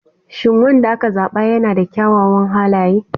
Shin wanda aka zaba yana da kyawawan halaye?